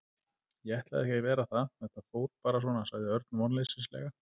Ég ætlaði ekki að vera það, þetta fór bara svona sagði Örn vonleysislega.